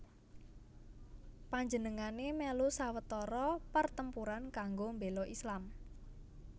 Panjenengané mèlu sawetara pertempuran kanggo mbéla Islam